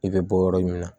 I bɛ bɔ yɔrɔ min na